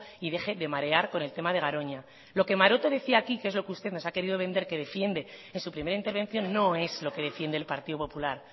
y deje de marear con el tema de garoña lo que maroto decía aquí que es lo que usted nos ha querido vender que defiende en su primera intervención no es lo que defiende el partido popular